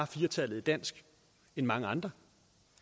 fire tallet i dansk end mange andre